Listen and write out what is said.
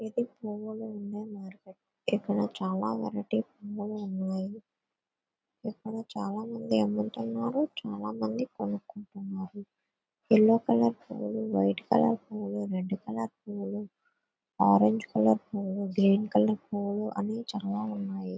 ఇది పువ్వులు ఉండే మార్కెటు .ఇక్కడ చాలా వెరైటీ పువ్వులు ఉన్నాయి . ఇక్కడ చాలామంది అమ్ముతున్నారు.చాలా మంది కొనుక్కుంటున్నారు. యెల్లో కలర్ పువ్వులు వైట్ కలర్ పువ్వులు రెడ్ కలర్ పువ్వులు ఆరెంజ్ కలర్ పువ్వులు గ్రీన్ కలర్ పువ్వులు అన్నీ చాలా ఉన్నాయి.